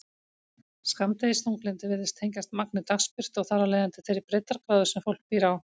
Skammdegisþunglyndi virðist tengjast magni dagsbirtu og þar af leiðandi þeirri breiddargráðu sem fólk býr á.